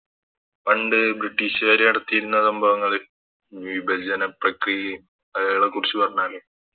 പണ്ട് ബ്രിട്ടീഷുകാര് നടത്തിയിരുന്ന സംഭവങ്ങൾ വിഭജന പ്രക്രിയെം അതുപോലുള്ള കുറിച്ച് പറഞ്ഞാല്